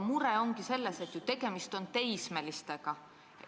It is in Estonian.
Mure ongi selles, et tegemist on teismelistega.